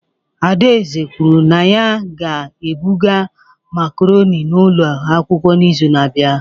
Adaeze kwuru na ya ga-ebuga macaroni n'ụlọ akwụkwọ n'izu na-abịa.